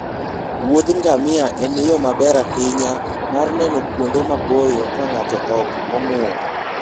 wuodh ngamia en yo maber ahinya mar neno kuonde maboyo ka ng'ato ok ong'ur.